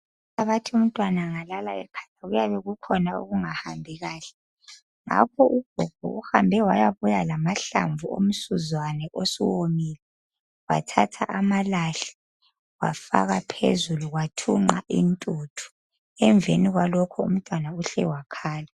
Bathi umntwana engalala ekhala kuyabe kukhona okungahambi kahle ngakho ugogo uhambe wayabuya lamahlamvu omsuzwane osuwomile, bathatha amalahle ,bafaka phezulu kwathunqa intuthu. Emveni kwalokho umntwana uhle wakhala.